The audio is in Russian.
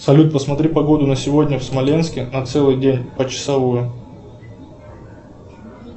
салют посмотри погоду на сегодня в смоленске на целый день почасовую